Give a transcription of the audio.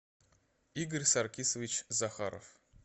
игорь саркисович захаров